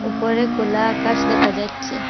উপরে খোলা আকাশ দেখা যাচ্ছে।